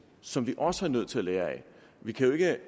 som vi også er nødt til at lære af vi kan jo ikke